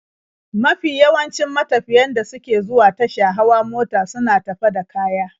Mafi yawancin matafiyan da suke zuwa tasha hawa mota suna tafe da kaya.